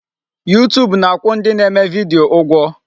YouTube na-akwụ ndị na-eme video ụgwọ.